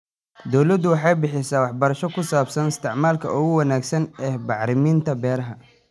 Dawladdu waxay bixisaa waxbarasho ku saabsan isticmaalka ugu wanaagsan ee bacriminta beeraha.